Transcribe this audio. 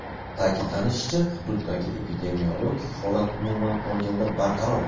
Ta’kidlanishicha, hududdagi epidemiologik holat umuman olganda barqaror.